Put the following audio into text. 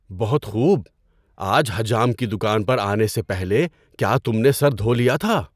بہت خوب! آج حجام کی دکان پر آنے سے پہلے کیا تم نے سر دھو لیا تھا؟